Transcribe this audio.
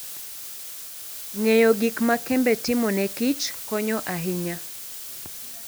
Ng'eyo gik ma kembe timo ne kich konyo ahinya.